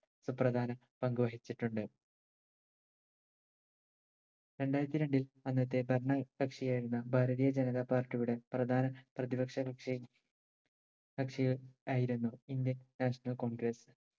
സുപ്രധാന പങ്കുവഹിച്ചിട്ടുണ്ട് രണ്ടായിരത്തി രണ്ടിൽ അന്നത്തെ ഭരണ കക്ഷിയായിരുന്ന ഭാരതീയ ജനത party യുടെ പ്രധാന പ്രതിപക്ഷ കക്ഷി ഏർ കക്ഷി ആയിരുന്നു indian national congress